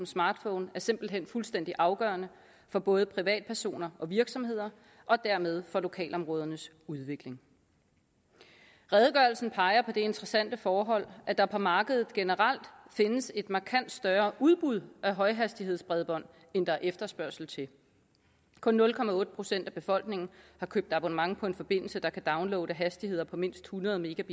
smartphonen er simpelt hen fuldstændig afgørende for både privatpersoner og virksomheder og dermed for lokalområdernes udvikling redegørelsen peger på det interessante forhold at der på markedet generelt findes et markant større udbud af højhastighedsbredbånd end der er efterspørgsel til kun nul procent af befolkningen har købt abonnement på en forbindelse der kan downloade hastigheder på mindst hundrede